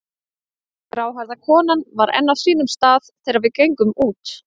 Gráhærða konan var enn á sínum stað þegar við gengum út.